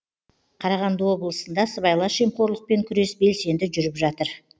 қарағанды облысында сыбайлас жемқорлықпен күрес белсенді жүріп жатыр